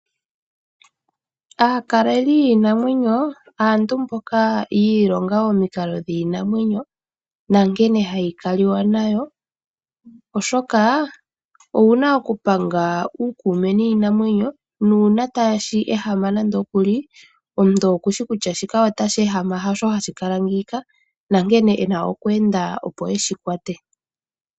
Aakaleli yiinamwenyo, aantu mboka yiilonga omikalo dhiinamwenyo nankene hayi kali wa nayo. Oshoka owuna okupanga uukuume niinamwenyo nuuna tashi ehama nande okuli omuntu oku shi kutya shika otashi ehama hosho hashi kala ngiika, nankene ena okweenda opo eshi kwa te.